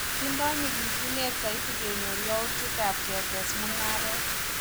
Tindoi nyikisinet saiti kenyor yautik ab ketes mungaret